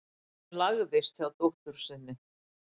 Steinunn lagðist hjá dóttur sinni.